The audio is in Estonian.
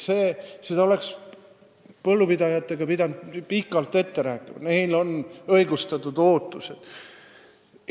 Sellest oleks pidanud põllupidajatega pikalt ette rääkima, neil on õigustatud ootused.